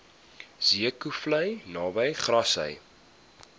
zeekoevlei naby grassy